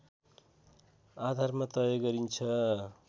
आधारमा तय गरिन्छ